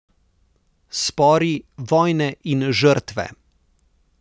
Spori, vojne in žrtve.